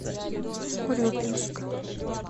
урюпинска